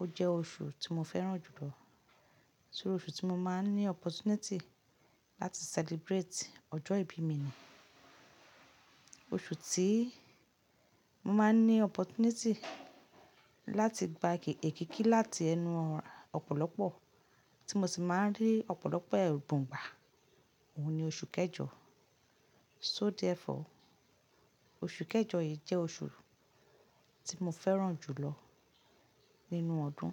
Ó jẹ́ oṣù tí mo fẹ́ràn jù lọ, torí oṣù tí mo máa ń ní opportunity láti celebrate ọjọ́ ìbí mi ni, oṣù tí mo máa ń ní opportunity láti gba èkikí láti ẹnu ọ̀pọ̀lọpọ̀, tí mo sì máa ń rí ọ̀pọ̀lọpọ̀ ẹ̀bun gbà, òun ni oṣù kẹjọ. So therefore, oṣù kẹjọ yìí jẹ́ oṣù tí mo fẹ́ràn jù lọ nínú ọdún.